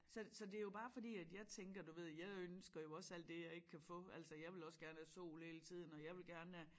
Så det så det jo bare fordi at jeg tænker du ved jeg ønsker jo også alt det jeg ikke kan få altså jeg vil også gerne have sol hele tiden og jeg vil gerne have